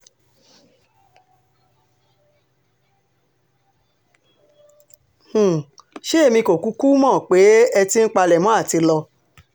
um ṣé èmi kò kúkú mọ̀ pé ẹ ti ń palẹ̀mọ́ àti lọ